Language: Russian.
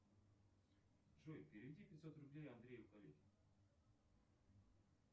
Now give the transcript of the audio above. джой переведи пятьсот рублей андрею коллеге